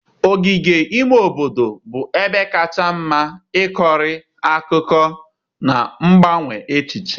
Ogige ime obodo bụ ebe kacha mma ịkọrọ akụkọ na mgbanwe echiche.